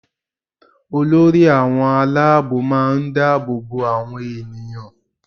Olórí àwọn aláàbò máa ń dáàbò bo àwọn ènìyàn